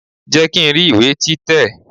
Jẹ́ kí n rí ìwé tí tẹ̀!